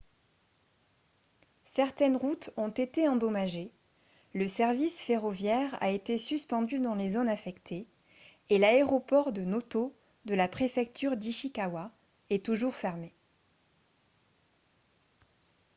certaines routes ont été endommagées le service ferroviaire a été suspendu dans les zones affectées et l'aéroport de noto de la préfecture d'ishikawa est toujours fermé